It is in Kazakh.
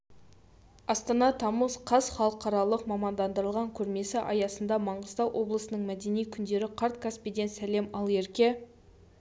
астана тамыз қаз халықаралық мамандандырылған көрмесі аясында маңғыстау облысының мәдени күндері қарт каспийден сәлем ал ерке